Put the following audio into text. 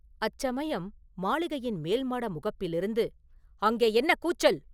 அச்சமயம் மாளிகையின் மேல்மாட முகப்பிலிருந்து, “அங்கே என்ன கூச்சல்?